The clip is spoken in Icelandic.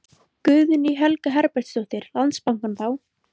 Guðný Helga Herbertsdóttir: Landsbankann þá?